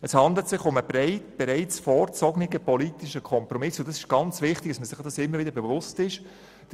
Es handelt sich um einen bereits vorgezogenen politischen Kompromiss, und es ist sehr wichtig, sich dies immer wieder bewusst zu machen.